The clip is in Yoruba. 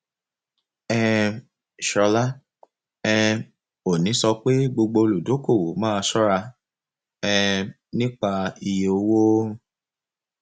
um ṣọlá um òní sọ pé gbogbo olùdókòwò máa ṣọra um nípa iye owó